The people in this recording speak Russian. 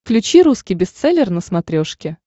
включи русский бестселлер на смотрешке